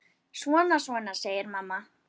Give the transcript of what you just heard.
Svona, svona, segir mamma.